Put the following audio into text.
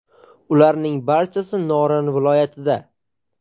Ularning barchasi Norin viloyatida.